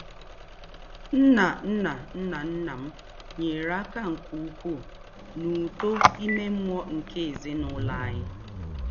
Nna nna Nna nna m nyere aka nke ukwuu n'uto ime mmụọ nke ezinụlọ anyị.